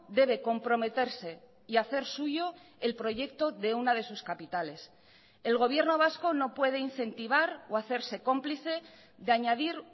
debe comprometerse y hacer suyo el proyecto de una de sus capitales el gobierno vasco no puede incentivar o hacerse cómplice de añadir